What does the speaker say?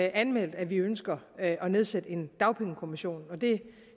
anmeldt at vi ønsker at nedsætte en dagpengekommission og det